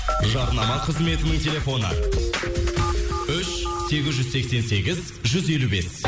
жарнама қызметінің телефоны үш сегіз жүз сексен сегіз жүз елу бес